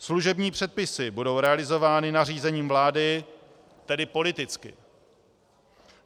Služební předpisy budou realizovány nařízením vlády, tedy politicky.